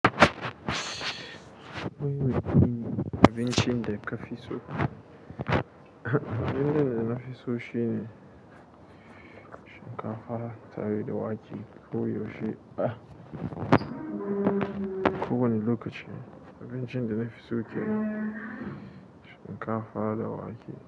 Wai, abincin da ka fi so? Abinci da na fi so shi ne shinkafa tare da wake ko yaushe ko wane lokaci abinci da na fi so kenan shinkafa da wake.